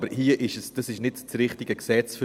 Aber das hier ist nicht das richtige Gesetz dafür.